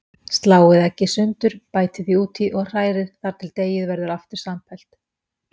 Sláið eggið sundur, bætið því út í og hrærið þar til deigið verður aftur samfellt.